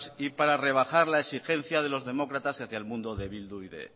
y para rebajar la exigencia de los demócratas hacia el mundo de bildu y de